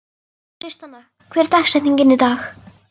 Tristana, hver er dagsetningin í dag?